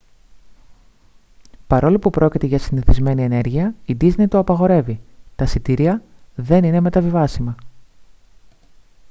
παρόλο που πρόκειται για συνηθισμένη ενέργεια η ντίσνεϊ το απαγορεύει τα εισιτήρια δεν είναι μεταβιβάσιμα